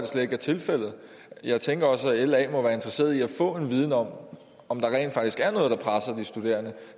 slet ikke er tilfældet jeg tænker også at la må være interesseret i at få en viden om om der rent faktisk er noget der presser de studerende